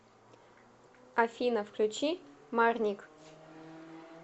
афина включи марник